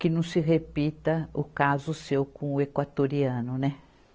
Que não se repita o caso seu com o equatoriano, né?